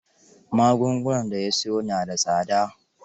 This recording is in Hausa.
Magungunan da ya siyo na da tsada.